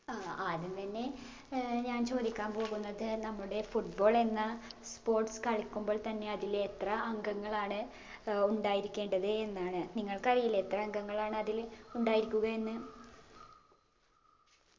ആ ആദ്യം തന്നെ ഏർ ഞാൻ ചോദിക്കാൻ പോകുന്നത് നമ്മുടെ football എന്ന sports കളിക്കുമ്പോൾ തന്നെ അതിൽ എത്ര അംഗങ്ങളാണ് ഏർ ഉണ്ടായിരിക്കേണ്ടത് എന്നാണ് നിങ്ങൾക്കറിയില്ലേ എത്ര അംഗങ്ങളാണ് അതിൽ ഉണ്ടായിരിക്കുക എന്ന്